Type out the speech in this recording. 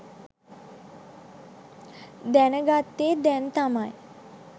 දැනගත්තෙ දැන් තමයි.